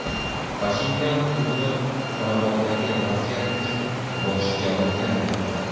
Pashinyan o‘zini Qorabog‘dagi vaziyat uchun bosh javobgar deb atadi.